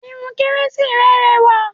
Irun kérésì rẹ rẹwà